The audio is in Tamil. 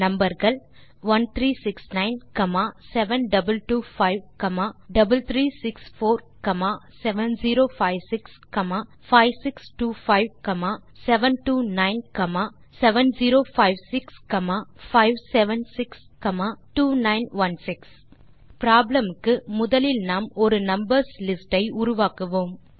நம்பர் கள் 1369 7225 3364 7056 5625 729 7056 576 2916 ப்ராப்ளம் க்கு முதலில் நாம் ஒரு numberகள் லிஸ்ட் உருவாக்குவோம்